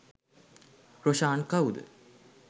රොෂාන් කවුද